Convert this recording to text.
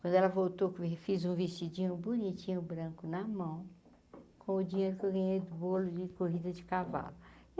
Quando ela voltou, fui e fiz um vestidinho bonitinho, branco na mão, com o dinheiro que eu ganhei do bolo de corrida de cavalo.